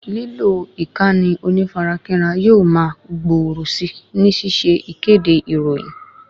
Lílo ìkànnì onífarakínra yóò ma gbòòrò si ni ṣíṣe ìkéde ìròyìn